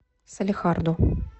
салехарду